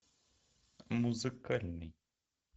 музыкальный